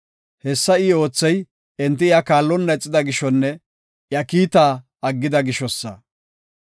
Hessa I oothey, enti iya kaallonna ixida gishonne iya kiitaa aggida gishosa.